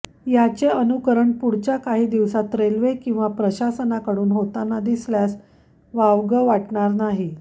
याचे अनुकरण पुढच्या काही दिवसात रेल्वे किंवा प्रशासनाकडून होताना दिसल्यास वावग वाटणार नाही